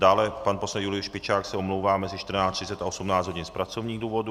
Dále pan poslanec Julius Špičák se omlouvá mezi 14.30 a 18 hodin z pracovních důvodů.